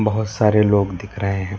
बहुत सारे लोग दिख रहे हैं।